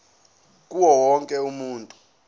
kuwo wonke umuntu